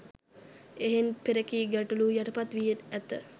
එහෙයින් පෙරකී ගැටළු යටපත් වී ඇත